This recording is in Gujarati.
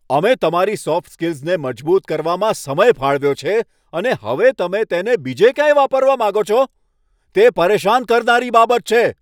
અમે તમારી સોફ્ટ સ્કિલ્સને મજબૂત કરવામાં સમય ફાળવ્યો છે, અને હવે તમે તેને બીજે ક્યાંય વાપરવા માંગો છો? તે પરેશાન કરનારી બાબત છે.